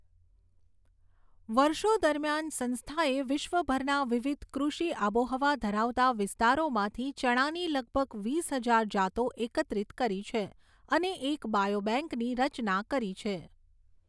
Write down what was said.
વર્ષો દરમિયાન, સંસ્થાએ વિશ્વભરના વિવિધ કૃષિ આબોહવા ધરાવતા વિસ્તારોમાંથી ચણાની લગભગ વીસ હજાર જાતો એકત્રિત કરી છે અને એક બાયોબેંકની રચના કરી છે.